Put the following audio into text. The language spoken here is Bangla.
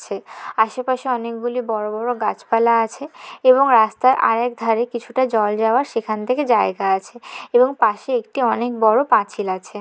আশেপাশে অনেকগুলি বড় বড় গাছপালা আছে। এবং রাস্তার আরেক ধারে কিছুটা জল যাওয়ার সেখান থেকে জায়গা আছে। এবং পাশে একটি অনেক বড় পাঁচিল আছে।